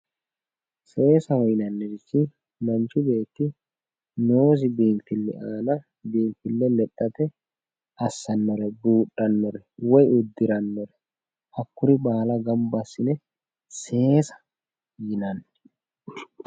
seessaho yinannihu manchu beeti noosi biinfille baala biinfille lexxate assannore woy buudhannore woy uddirannore hakkoyere baala gamba assine seesaho yinanni.